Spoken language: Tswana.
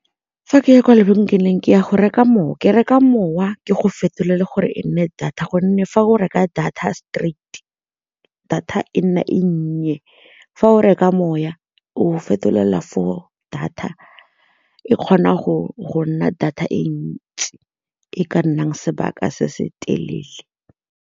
Fa ke ya kwa lebenkeleng ke ya go reka mowa, ke reka mowa ke go fetolela gore e nne data gonne fa go reka data ya straight data e nne e nnye, fa o reka moya o fetolela for data e kgona go nna data e ntsi e ka nnang sebaka se se telele.